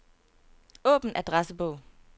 Åbn adressebog.